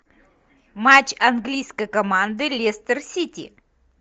матч английской команды лестер сити